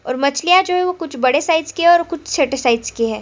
और मछलियाँ जो है वो कुछ बड़े साइज की है और कुछ छोटे साइज की हैं।